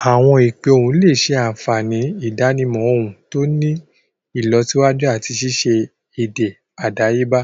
Awọn ipe ohùn le ṣe àfihàn idanimọ ohùn to ti ni ìlọsíwájú ati ṣiṣe èdè àdáyébá.